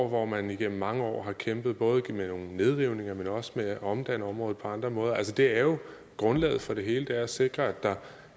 hvor man igennem mange år har kæmpet både med nogle nedrivninger men også med at omdanne området på andre måder altså det er jo grundlaget for det hele at sikre at der